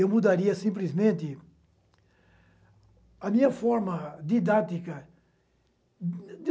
Eu mudaria simplesmente a minha forma didática.